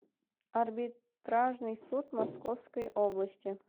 арбитражный суд московской области